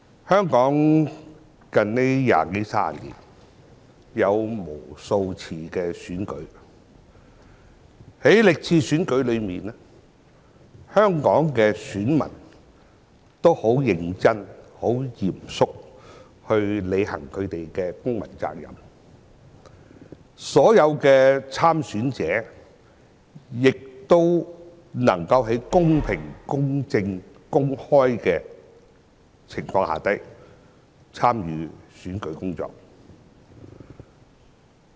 香港在這二三十年間曾舉行無數次的選舉，在歷次選舉中，香港的選民均十分認真和嚴肅地履行他們的公民責任，所有的參選者亦能夠在公平、公正、公開的情況下進行選舉工作。